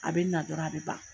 A bɛ na dɔrɔn a bɛ ban.